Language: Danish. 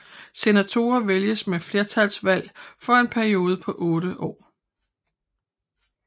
Senatorerne vælges med flertalsvalg for en periode på otte år